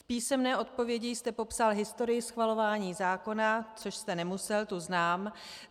V písemné odpovědi jste popsal historii schvalování zákona - což jste nemusel, tu znám.